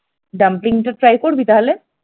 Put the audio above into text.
ডাম্পলিংটা try করবি তাহলে?